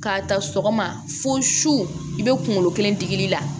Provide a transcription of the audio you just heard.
K'a ta sɔgɔma fo su i bɛ kunkolo kelen digi la